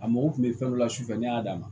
A mago kun bɛ fɛn dɔ la su fɛ ne y'a d'a ma